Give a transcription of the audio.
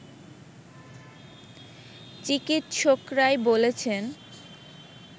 চিকিৎসকরাই বলেছেন